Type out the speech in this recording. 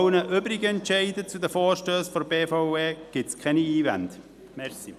Zu den übrigen Entscheiden zu Vorstössen der BVE gibt es keine Einwände.